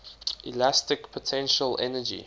elastic potential energy